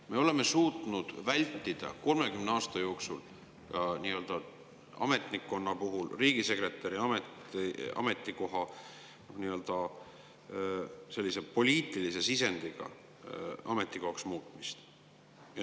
Me oleme suutnud vältida 30 aasta jooksul ametnikkonna puhul riigisekretäri ametikoha muutumist poliitilise sisendiga ametikohaks.